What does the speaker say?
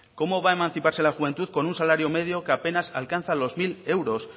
cómo va a emanciparse la juventud con un salario medio que apenas alcanza los mil euros